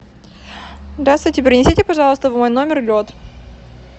здравствуйте принесите пожалуйста в мой номер лед